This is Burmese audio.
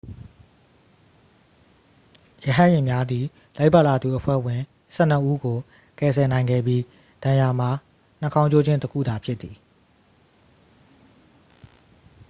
ရဟတ်ယာဉ်များသည် လိုက်ပါလာသူအဖွဲ့ဝင် ဆယ့်နှစ်ဦးကို ကယ်ဆယ်နိုင်ခဲ့ပြီး ဒဏ်ရာမှာ နှာခေါင်းကျိုးခြင်း တစ်ခုသာဖြစ်သည်